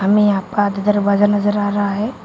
हमे यहां पाँच दरवाजा नजर आ रहा है।